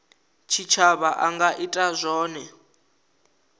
tshitshavha a nga ita zwone